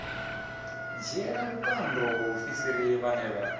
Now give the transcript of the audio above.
dzhiela vhukando vhaofisiri vhane vha